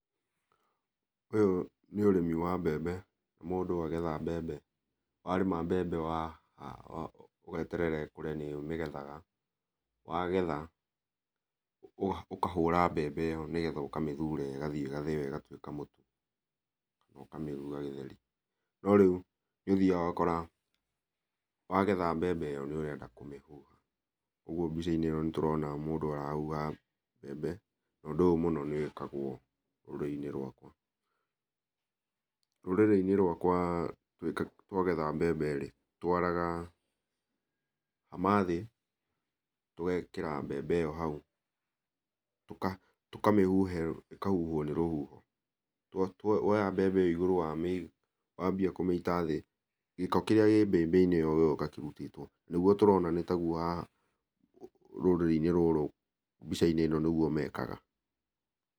Ũyũ nĩ ũrĩmi wa mbembe, mũndũ arĩma mbembe, wagetha mbembe ũgeterera ĩkũre nĩgetha wagetha ũkahũra mbembe nĩgetha ũgathiĩ ũkamĩthura ĩgatuĩka mũtu kana ũkamĩruga gĩtheri. No rĩu nĩ ũthiaga ũgakora wagetha mbembe ĩyo nĩ ũrenda kũmĩhũra ũguo mbica-inĩ ĩyo nĩ tũrona mũndũ ũrahuha mbembe na ũndũ ũyũ nĩ wĩkagwo rũrĩrĩ-inĩ rwakwa. Rũrĩrĩ-inĩ rwakwa twagetha mbembe rĩ twaraga hama thĩ ũgekĩra mbembe ĩyo hau, tũtamĩhuha, ĩkahuhwo nĩ rũhuho na woya mbembe igũrũ wanjia kũmĩita thĩ gĩko kĩrĩa kĩmbembeinĩ ĩyo gĩgoka kĩhutĩtwo, ũguo nĩguo tũrona rũrĩrĩ-inĩ rũrũ mbica-inĩ ĩno nĩguo mekaga.